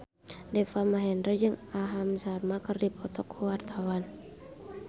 Deva Mahendra jeung Aham Sharma keur dipoto ku wartawan